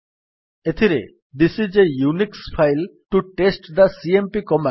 ଏଥିରେ this is a Unix file to test the cmp command